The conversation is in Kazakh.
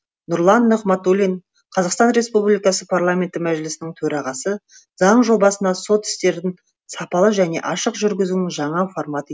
нұрлан нығматулин қазақстан республикасы парламенті мәжілісінің төрағасы заң жобасына сот істерін сапалы және ашық жүргізудің жаңа форматы